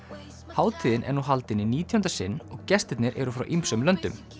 hátíðin er nú haldin í nítjánda sinn og gestirnir eru frá ýmsum löndum